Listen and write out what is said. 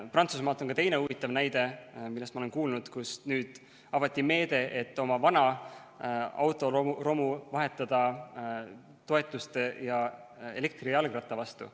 Prantsusmaalt on ka teine huvitav näide, millest ma olen kuulnud, nimelt avati meede, et oma vana autoromu saab vahetada toetuste ja elektrijalgratta vastu.